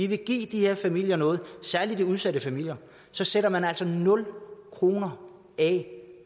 vil give de her familier noget særlig de udsatte familier så sætter man altså nul kroner af